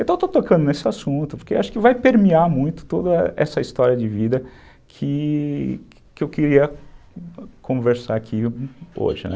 Então, eu estou tocando nesse assunto, porque acho que vai permear muito toda essa história de vida que que eu queria conversar aqui hoje, né?